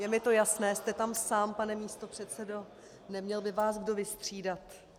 Je mi to jasné, jste tam sám, pane místopředsedo, neměl by vás kdo vystřídat.